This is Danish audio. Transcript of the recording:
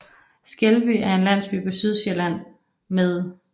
Skelby er en landsby på Sydsjælland med